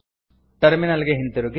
terminal ಗೆ ಹಿಂದಿರುಗಿ